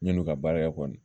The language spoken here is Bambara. Ɲani u ka baara kɛ kɔni